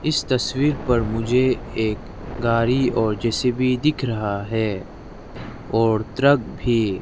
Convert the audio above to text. इस तस्वीर पर मुझे एक गाड़ी और जे_सी_बी दिख रहा है और ट्रक भी।